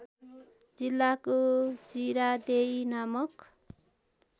जिल्लाको जिरादेई नामक